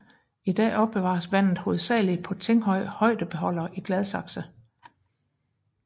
I dag opbevares vandet hovedsagelig på Tinghøj Højdebeholder i Gladsaxe